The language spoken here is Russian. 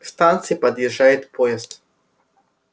к станции подъезжает поезд